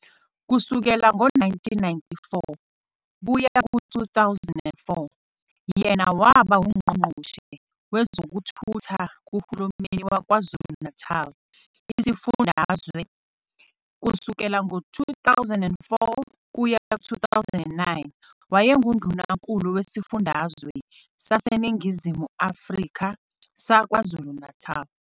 Kusukela ngo-1994 kuya ku-2004 yena waba UNgqongqoshe wezokuThutha kuhulumeni waKwaZulu-Natali isifundazwe. Kusukela ngo-2004 kuya ku-2009 wayenguNdunankulu wesifundazwe saseNingizimu Afrika saKwaZulu-Natali.